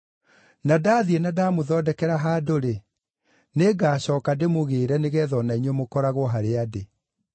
Na ndathiĩ na ndamũthondekera handũ-rĩ, nĩngacooka ndĩmũgĩĩre nĩgeetha o na inyuĩ mũkoragwo harĩa ndĩ.